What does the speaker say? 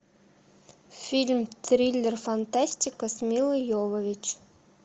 фильм триллер фантастика с милой йовович